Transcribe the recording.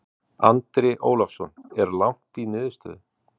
Andri Ólafsson: Er langt í niðurstöðu?